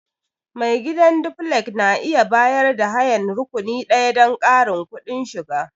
Mai gidan duflek na iya bayar da hayan rakuni ɗaya don ƙarin kudin shiga.